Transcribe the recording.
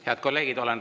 Head kolleegid!